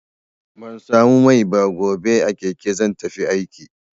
Ban samu mai ba, gobe a keke zan tafi aiki.